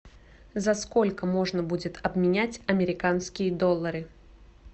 за сколько можно будет обменять американские доллары